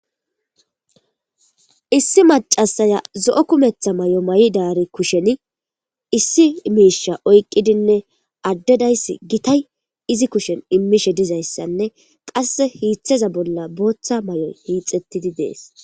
Issi macasaya zo'o kumetha may'o may'i daari kushen issi miisha oyqqidinne addedayss gitay izi kushen immishe dizayssanne qas hiiththeza bolla booththa may'o hiixettidi dees.